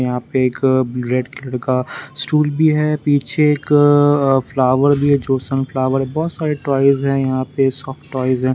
यहां पे एक रेड कलर का स्टूल भी है पीछे एक फ्लावर भी है जोसन फ्लावर बहुत सारे टॉयज हैं यहां पे सॉफ्ट ।